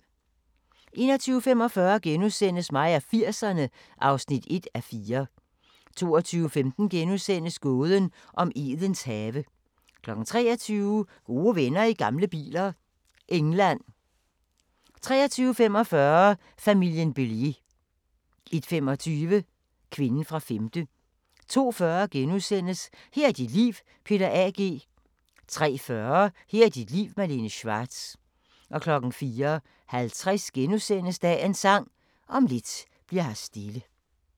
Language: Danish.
21:45: Mig og 80'erne (1:4)* 22:15: Gåden om Edens have * 23:00: Gode venner i gamle biler – England 23:45: Familien Bélier 01:25: Kvinden fra femte 02:40: Her er dit liv – Peter A. G. * 03:40: Her er dit liv – Malene Schwartz 04:50: Dagens Sang: Om lidt bli'r her stille *